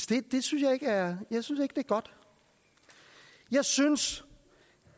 det synes jeg ikke er godt jeg synes